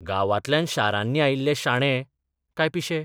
गांवांतल्यान शारांनी आयिल्ले शाणे, काय पिशे?